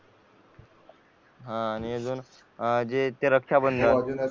हा आणि अजून ते रक्षा बंधन